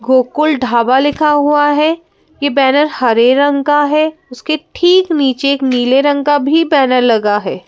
गोकुल ढाबा लिखा हुआ है यह बैनर हरे रंग का है उसके ठीक नीचे एक नीले रंग का भी बैनर लगा है।